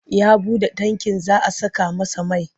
Ya buɗe tankin za a saka masa mai.